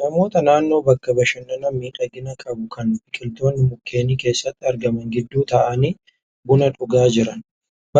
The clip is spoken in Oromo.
Namoota naannoo bakka bashannanaa miidhagina qabu kan biqiltoonni mukeenii keessatti argaman gidduu taa'anii buna dhugaa jiran.